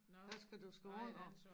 Der skal du skrive under